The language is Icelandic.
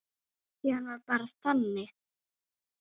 Því hann var bara þannig.